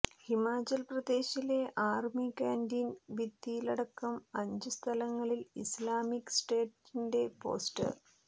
ഹിമാചൽ പ്രദേശിലെ army canteen ഭിത്തിയിലടക്കം അഞ്ച് സ്ഥലങ്ങളിൽ ഇസ്ലാമിക് സ്റ്റേറ്റിന്റെ പോസ്റ്റർ